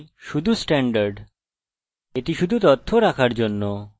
এটি শুধু তথ্য রাখার জন্য ওগুলি মুছবেন না